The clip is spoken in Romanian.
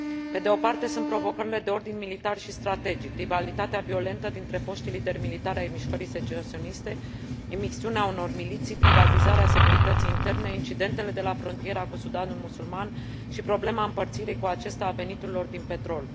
Pe de o parte, sunt provocările de ordin militar și strategic, rivalitatea violentă dintre foștii lideri militari ai mișcării secesioniste, imixtiunea unor miliții, privatizarea securității interne, incidentele de la frontiera cu Sudanul musulman și problema împărțirii cu acesta a veniturilor din petrol.